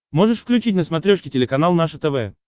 можешь включить на смотрешке телеканал наше тв